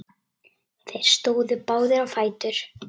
Þeir stóðu báðir á fætur.